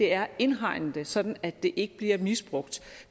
er at indhegne det sådan at det ikke bliver misbrugt